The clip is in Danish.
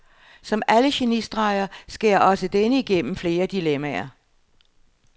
Som alle genistreger skærer også denne igennem flere dilemmaer.